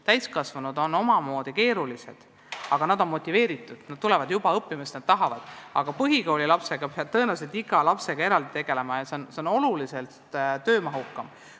Täiskasvanud on omamoodi keerulised, aga nad on motiveeritud, nad tulevad õppima, sest nad tahavad seda, aga põhikoolilapsega peab tõenäoliselt eraldi tegelema ja see on oluliselt töömahukam.